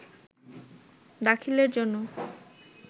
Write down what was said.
দাখিলের জন্য